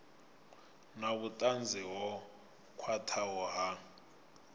na vhutanzi ho khwathaho ha